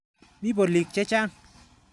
Mi polik che chang'.